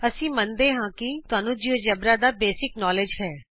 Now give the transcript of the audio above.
ਅਸੀਂ ਮੰਨਦੇ ਹਾਂ ਕਿ ਤੁਹਾਨੂੰ ਜਿਉਜੇਬਰਾ ਦਾ ਮੁੱਢਲਾ ਗਿਆਨ ਹੈ